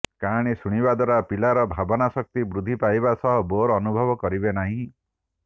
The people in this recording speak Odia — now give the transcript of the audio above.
କାହାଣୀ ଶୁଣିବା ଦ୍ୱାରା ପିଲାର ଭାବନା ଶକ୍ତି ବୃଦ୍ଧି ପାଇବା ସହ ବୋର୍ ଅନୁଭବ କରିବେ ନାହିଁ